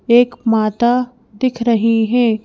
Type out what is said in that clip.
एक माता दिख रही हैं।